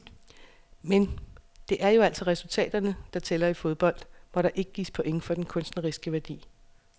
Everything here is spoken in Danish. Men, det er jo altså resultaterne, der tæller i fodbold, hvor der ikke gives point for den kunstneriske værdi.